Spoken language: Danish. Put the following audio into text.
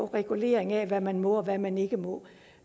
reguleringen af hvad man må og hvad man ikke må